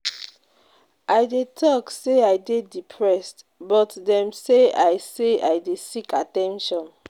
I dey tok sey I dey depressed but dem say I say I dey seek at ten tion.